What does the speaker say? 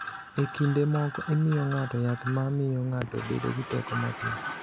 E kinde moko, imiyo ng’ato yath ma miyo ng’ato bedo gi teko mapiyo.